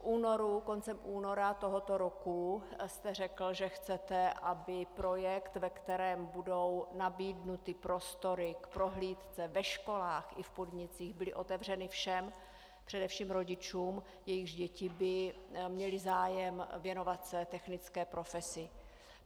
Koncem února tohoto roku jste řekl, že chcete, aby projekt, ve kterém budou nabídnuty prostory k prohlídce ve školách i v podnicích, byly otevřeny všem, především rodičům, jejichž děti by měly zájem věnovat se technické profesi.